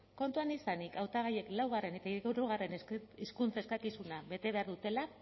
kontuan izanik hautagaiek laugarrena eta hirugarrena hizkuntza eskakizuna bete behar dutela